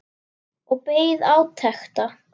Og beið átekta.